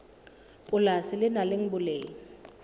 polasi le nang le boleng